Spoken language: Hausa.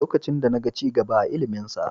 Lokacin da na ga ci gaba a iliminsa.